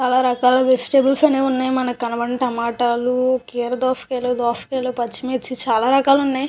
చాలా రకాల వెజిటేబుల్స్ అనేవి ఉన్నాయి మనకి కనబడిన టమాటాలు కీర దోసకాయలు దోసకాయలు పచ్చిమిర్చి చాలా రకాలు వున్నాయి.